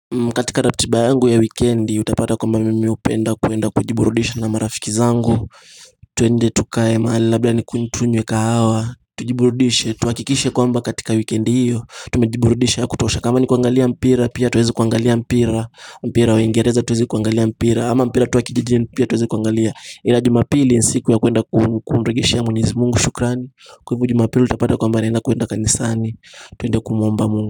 Katika ratiba yangu ya wikendi utapata kwamba mimi hupenda kwenda kujiburudisha na marafiki zangu tuende tukae mahali labda tunywe kahawa Tujiburudishe tuhakikishe kwamba katika wikendi hiyo Tumejiburudisha ya kutosha kama ni kuangalia mpira pia tuweze kuangalia mpira mpira wa ingereza tuweze kuangalia mpira ama mpira tu wa kijijini pia tuweze kuangalia Ila jumapili ni siku ya kwenda kumrejeshea mwenyezi Mungu shukrani Kwaivyo jumapili utapata kwamba naenda kuenda kanisani tuende kumuomba mungu.